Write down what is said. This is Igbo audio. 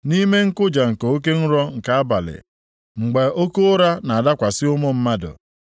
Nʼime nkụja nke oke nrọ nke abalị, mgbe oke ụra na-adakwasị ụmụ mmadụ,